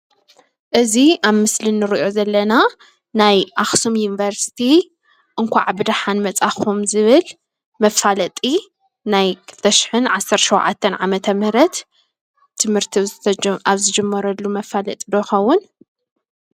እዚ አብ ምስሊ እንሪኦ ዘለና ናይ አክሱም ዩኒቨርሲቲ እንኳዕ ብደሓን መፃኩም ዝብል መፋለጢ ናይ 2017 ዓ/ም ትምህርቲ አብ ዝጀመረሉ መፋለጢ ዶ ይኸውን?